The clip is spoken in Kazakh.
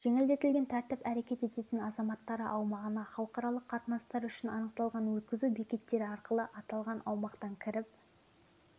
жеңілдетілген тәртіп әрекет ететін азаматтары аумағына халықаралық қатынастар үшін анықталған өткізу бекеттері арқылы аталған аумақтан кіріп